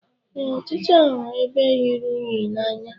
Ee, ọchịcha hụrụ ebe rụrụ unyi n'anya.